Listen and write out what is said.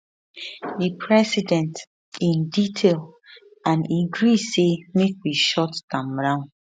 [di president] in detail and e agree say make we shut am down